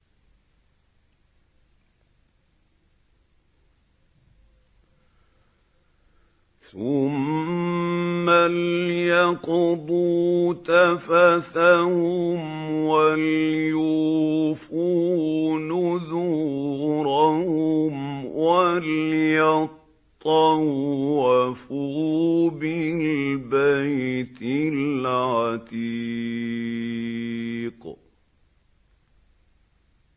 ثُمَّ لْيَقْضُوا تَفَثَهُمْ وَلْيُوفُوا نُذُورَهُمْ وَلْيَطَّوَّفُوا بِالْبَيْتِ الْعَتِيقِ